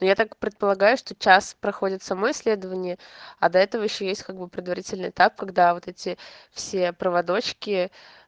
я так предполагаю что час проходит само исследование а до этого ещё есть как бы предварительный этап когда вот эти все проводочки